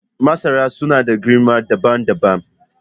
Masara suna da girma dabam dabam.